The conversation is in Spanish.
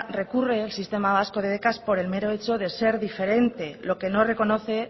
recurre el sistema vasco de becas por el mero hecho de ser diferente lo que no reconoce